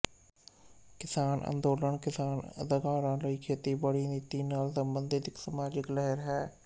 ਕਿਸਾਨ ਅੰਦੋਲਨ ਕਿਸਾਨ ਅਧਿਕਾਰਾਂ ਲਈ ਖੇਤੀਬਾੜੀ ਨੀਤੀ ਨਾਲ ਸਬੰਧਤ ਇੱਕ ਸਮਾਜਿਕ ਲਹਿਰ ਹੈ